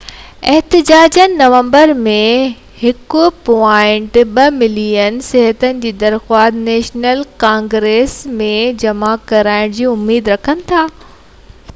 احتجاجين نومبر ۾ 1.2 ملين صحين جي درخواست نيشنل ڪانگريس ۾ جمع ڪرائڻ جي اميد رکن ٿا